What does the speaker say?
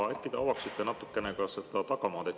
Äkki te natukene avaksite seda tagamaad.